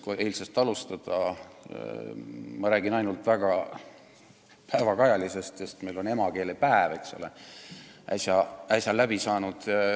Kui eilsest alustada, siis ma räägin ainult väga päevakajalisest teemast, sest emakeelepäev on äsja läbi saanud.